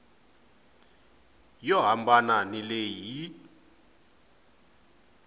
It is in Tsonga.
yo hambana ni leyi yi